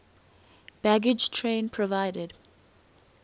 baggage train provided